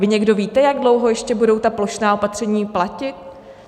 Vy někdo víte, jak dlouho ještě budou ta plošná opatření platit?